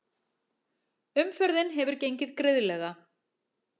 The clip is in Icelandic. Umferðin hefur gengið greiðlega